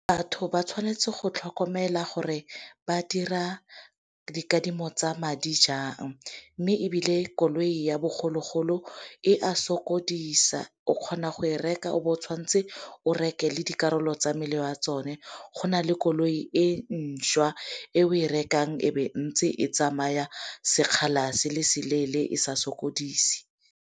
Batho ba tshwanetse go tlhokomela gore ba dira dikadimo tsa madi jang. Mme ebile koloi ya bogologolo e a sokodisa, o kgona go e reka o tshwanetse o reke le dikarolo tsa mmele wa tsone. Go na le koloi e ntšhwa e o e rekang e ntse e tsamaya sekgala se le se leele e sa sokodise.